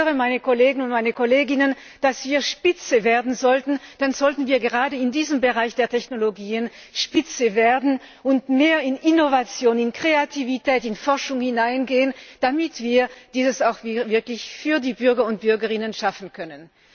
Wenn ich höre, meine Kolleginnen und meine Kollegen, dass wir Spitze werden sollten, dann sollten wir gerade in diesen Bereichen der Technologie Spitze werden und mehr in Innovation, in Kreativität, in Forschung hineingehen, damit wir dies auch wirklich im Interesse der Bürgerinnen und Bürger schaffen können.